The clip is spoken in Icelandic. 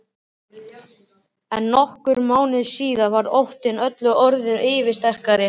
En nokkrum mánuðum síðar varð óttinn öllu öðru yfirsterkari.